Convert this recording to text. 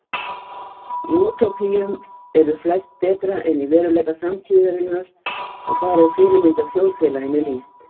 Í útópíum eru flest betra en í veruleika samtíðarinnar og þar er fyrirmyndarþjóðfélaginu lýst.